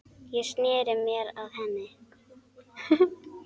Ég sneri mér að henni.